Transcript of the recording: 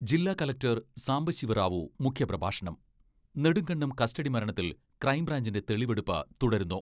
ജില്ലാ കലക്ടർ സാംബശിവ റാവു മുഖ്യപ്രഭാഷണം നെടുങ്കണ്ടം കസ്റ്റഡി മരണത്തിൽ ക്രൈംബ്രാഞ്ചിന്റെ തെളിവെടുപ്പ് തുടരുന്നു.